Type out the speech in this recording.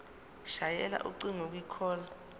shayela ucingo kwicall